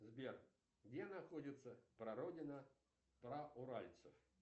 сбер где находится прародина прауральцев